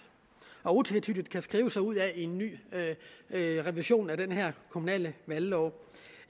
og utvetydigt kan skrive sig ud af i en ny revision af den kommunale valglov